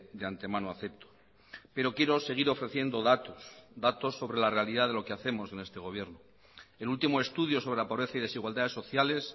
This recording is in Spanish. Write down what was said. de antemano acepto pero quiero seguir ofreciendo datos datos sobre la realidad de lo que hacemos en este gobierno el último estudio sobre la pobreza y desigualdades sociales